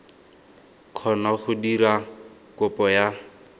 kgona go dira kopo ya